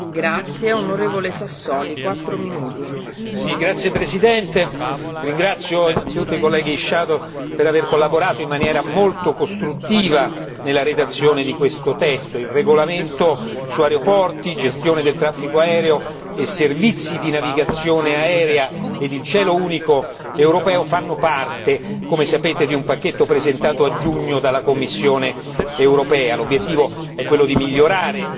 Signora Presidente, onorevoli colleghi, ringrazio innanzitutto i colleghi per aver collaborato in maniera molto costruttiva nella redazione di questo testo il regolamento su aeroporti, gestione del traffico aereo e servizi di navigazione aerea e il cielo unico europeo fanno parte, come sapete, di un pacchetto presentato a giugno dalla Commissione europea. L'obiettivo è quello di migliorare